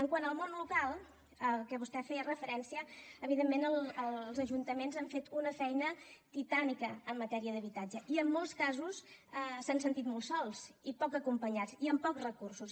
quant al món local al que vostè feia referència evidentment els ajuntaments han fet una feina titànica en matèria d’habitatge i en molts casos s’han sentit molt sols i poc acompanyats i amb pocs recursos